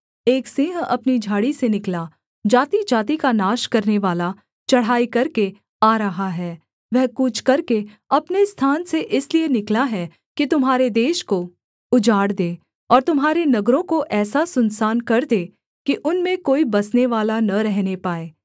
एक सिंह अपनी झाड़ी से निकला जातिजाति का नाश करनेवाला चढ़ाई करके आ रहा है वह कूच करके अपने स्थान से इसलिए निकला है कि तुम्हारे देश को उजाड़ दे और तुम्हारे नगरों को ऐसा सुनसान कर दे कि उनमें कोई बसनेवाला न रहने पाए